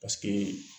Paseke